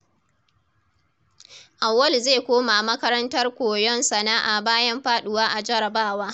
Auwalu zai koma makarantar koyon sana’a bayan faduwa a jarabawa.